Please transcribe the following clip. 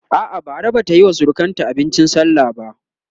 a'a Bara Bata Yi wa surukanta abincin sallah ba